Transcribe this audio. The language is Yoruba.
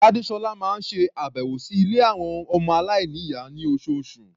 Gbádésọ́lá máa ń ṣe àbẹ̀wò sí ilé àwọn ọmọ aláìníyàá ní oṣooṣù.